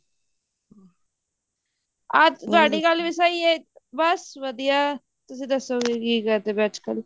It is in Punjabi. ਅੱਜ ਤੁਹਾਡੀ ਗੱਲ ਵੀ ਸਹੀ ਹੈ ਬਸ ਵਧੀਆ ਤੁਸੀਂ ਦਸ੍ਸੋੰ ਵੀ ਕੀ ਕਰਦੇ ਪਏ ਅੱਜਕਲ